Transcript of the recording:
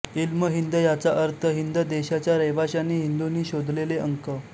इल्म हिंद याचा अर्थ हिंद देशाच्या रहिवाशांनी हिंदूंनी शोधलेले अंक